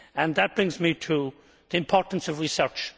That brings me to the importance of research.